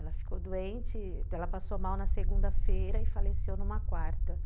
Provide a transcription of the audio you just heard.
Ela ficou doente, ela passou mal na segunda-feira e faleceu numa quarta-feira.